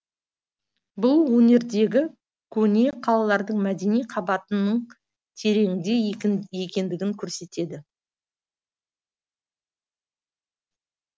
бұл өңірдегі көне қалалардың мәдени қабатының тереңде екендігін көрсетеді